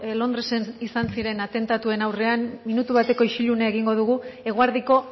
londresen izan ziren atentatuen aurrean minutu bateko isilunea egingo dugu eguerdiko